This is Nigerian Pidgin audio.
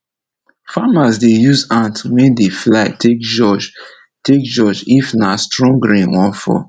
farmer dey use ant wey dey fly take judge take judge if nah strong rain wan fall